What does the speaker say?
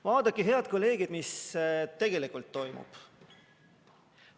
Vaadake, head kolleegid, mis tegelikult toimub.